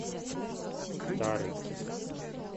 тары